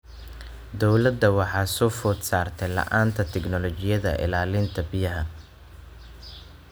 Dowladda waxaa soo food saartay la'aanta tignoolajiyada ilaalinta biyaha.